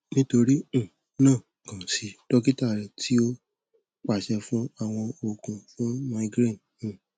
nítorí um náà kàn sí dókítà rẹ tí ó pàṣẹ fún àwọn oògùn fún migraine